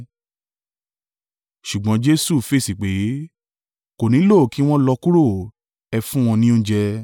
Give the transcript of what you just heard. Ṣùgbọ́n Jesu fèsì pé, “Kò nílò kí wọ́n lọ kúrò. Ẹ fún wọn ní oúnjẹ.”